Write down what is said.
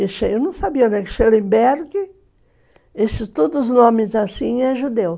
Eu não sabia, né, que Schellenberg, esses todos os nomes assim, é judeu.